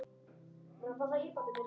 Eva rétti Adam.